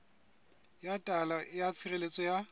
ya taelo ya tshireletso ya